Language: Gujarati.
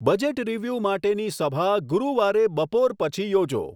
બજેટ રીવ્યુ માટેની સભા ગુરુવારે બપોર પછી યોજો